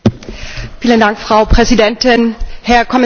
Frau Präsidentin, Herr Kommissar Andor!